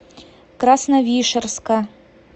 красновишерска